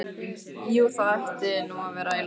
Jú, það ætti nú að vera í lagi svaraði Engilbert.